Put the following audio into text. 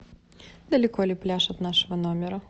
далеко ли пляж от нашего номера